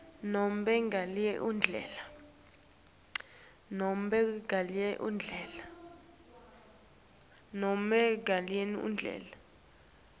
nobe ngalenye indlela